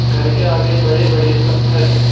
घर के आगे बड़े बड़े पत्थर हैं।